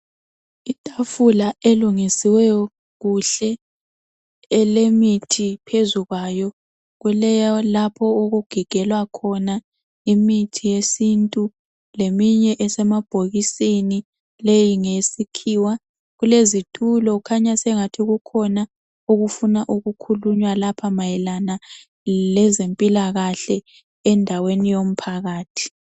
Itafula elungisiweyo kuhle elemithi phezu kwayo. Kulalapho okugigelwa khona imithi yesiNtu leminye esemabhokisini leyi ngeyesikhiwa. Kulezitulo khanya sengathi kukhona okufuna ukukhulunywa lapha mayelana lezempilakahle endaweni yomphakathi.